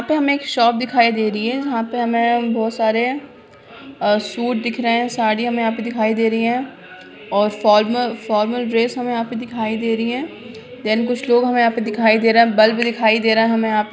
यहाँ पे हमें एक शॉप दिखाई दे रही है जहाँ पे हमें बहुत सारे सूट दिख रहे हैं साड़ी हमें यहाँ पे दिखाई दे रही है और फॉर्मल ड्रेस हमें यहाँ पे दिखाई दे रही है | देन कुछ लोग हमें यहाँ पे दिखाई दे रहे हैं बल्ब दिखाई दे रहा है हमे यहाँ---